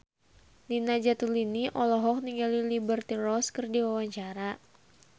Nina Zatulini olohok ningali Liberty Ross keur diwawancara